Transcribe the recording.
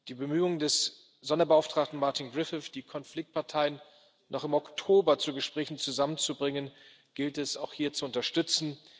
Die Bemühungen des Sonderbeauftragten Martin Griffith, die Konfliktparteien noch im Oktober zu Gesprächen zusammenzubringen, gilt es auch hier zu unterstützen.